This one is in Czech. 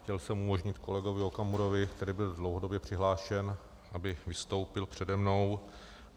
Chtěl jsem umožnit kolegovi Okamurovi, který byl dlouhodobě přihlášen, aby vystoupil přede mnou.